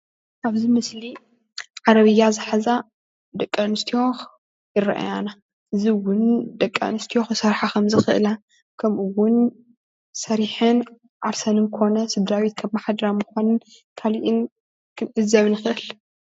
ኣብዚ ምስሊ ዓረብያ ዝሓዛ ደቂ ኣንስትዮ ይረኣያና እዚ እዉን ደቂ ኣንስትዮ ክሰርሓ ከምዝክእላ ከም'ኡ ሰሪሐን ዓርሰን ኮነ ስድራ-ቤተን ከመሓድራ ምኳነን ካሊእን ክንዕዘብ ንክእል።